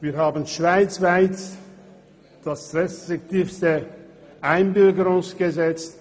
Wir haben schweizweit das restriktivste Einbürgerungsgesetz.